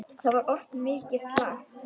Það var oft mikið slark.